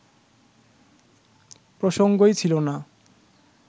প্রসঙ্গই ছিল না